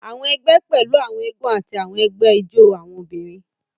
Àwọn egbé pẹlú àwọn eégún ati awọn ẹgbẹ ijó awọn obìnrin.